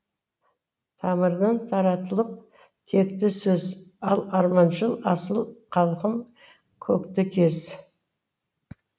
тамырынан таратылып текті сөз ал арманшыл асыл халқым көкті кез